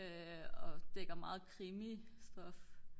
og dækker meget krimistof